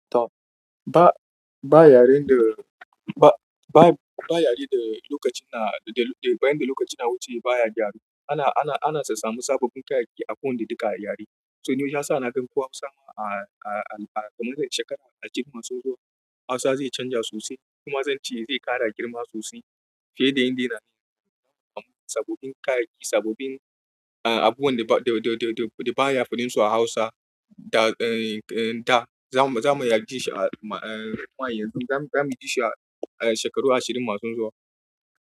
Top. Ba, ba yare da, ba, ba, ba yare da lokacin na, da, da bayan da lokaci na wuce baya gyaru. Ana, ana, ana sassamu sababbin kayayyaki a ko inda duka a yare. So ne ya sa na gan kowa musamman a, a, a, a kaman shekara a girma soson Hausa zai canja sosai kuma zan ce zai kara girma sosai. Fiye da inda yana yanzu. Sabobin kayayyaki, sabobin, ah abubuwan da ba, da, da, da baya farin su a Hausa da, da za mu, za mu iya jin shi a ma, a yanzu za mu, za mu ji shi a shekaru ashirin masu zuwa.